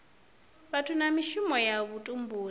vhathu na mishumo ya vhutumbuli